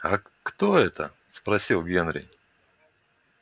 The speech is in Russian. а кто это спросил генри